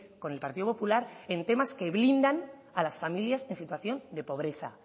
con el partido popular en temas que blindan a las familias en situación de pobreza